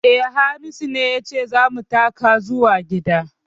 Eh, Hamisu ya ce za mu taka zuwa gida